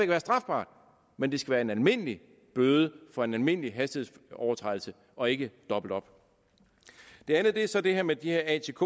være strafbart men det skal være en almindelig bøde for en almindelig hastighedsovertrædelse og ikke dobbelt op det andet er så det her med de her atk